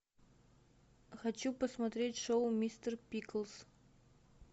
хочу посмотреть шоу мистер пиклз